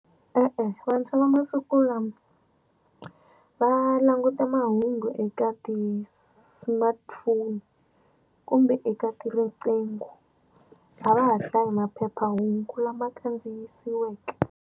E-e, vantshwa va masiku lama va languta mahungu eka ti-smartphone kumbe eka riqingho a va ha hlayai maphephahungu lama khandziyisiweke.